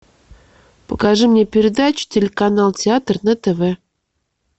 покажи мне передачу телеканал театр на тв